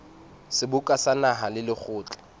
seboka sa naha le lekgotla